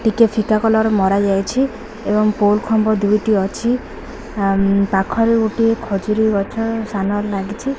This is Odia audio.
ଟିକେ ଫିକା କଲର୍ ମରା ଯାଇଛି ଏବଂ ପୋଲ୍ ଖମ୍ବ ଦୁଇଟି ଅଛି ପାଖରେ ଗୋଟେ ଖଜୁରୀ ଗଛ ସାନ ର ଲାଗିଛି।